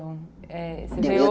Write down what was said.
é